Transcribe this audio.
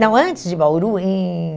Não, antes de Bauru, em...